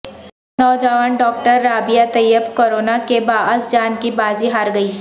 نوجوان doctor Rabia Tayyab corona کےباعث جان کی بازی ہار گئیں